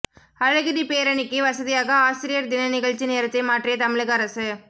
அழகிரி பேரணிக்கு வசதியாக ஆசிரியர் தின நிகழ்ச்சி நேரத்தை மாற்றிய தமிழக அரசு